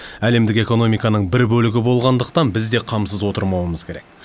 әлемдік экономиканың бір бөлігі болғандықтан біз де қамсыз отырмауымыз керек